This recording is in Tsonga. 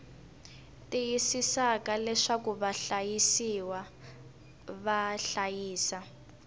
tiyisisaka leswaku vahlayisiwa va hlayisa